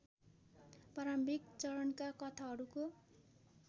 प्रारम्भिक चरणका कथाहरूको